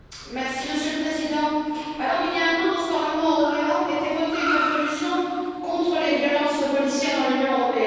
Monsieur le Président, il y a un an dans ce Parlement européen était votée une résolution contre les violences policières dans l'Union européenne.